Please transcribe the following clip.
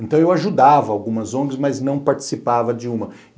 Então eu ajudava algumas on gues, mas não participava de uma.